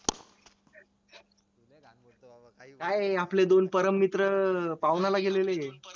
नाय आपले दोन परममित्र पाहुणाला गेलेलेएत